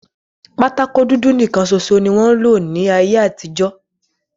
Bọọdi dudu nikan ṣoṣo ni wọn lo ní ayé àtijọ́.